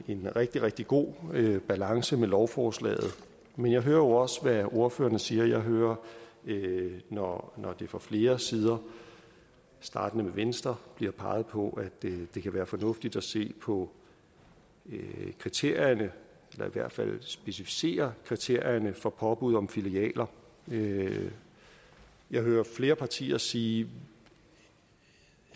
en rigtig rigtig god balance med lovforslaget men jeg hører jo også hvad ordførerne siger jeg hører når når der fra flere sider startende med venstre bliver peget på at det kan være fornuftigt at se på kriterierne eller i hvert fald specificere kriterierne for påbud om filialer filialer jeg hører flere partier sige